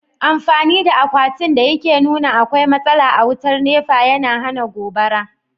Amfani da akwatin da yake nuna akwai matsala a wutar nepa, yana hana gobara.